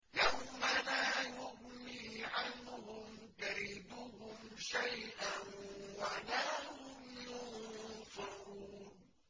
يَوْمَ لَا يُغْنِي عَنْهُمْ كَيْدُهُمْ شَيْئًا وَلَا هُمْ يُنصَرُونَ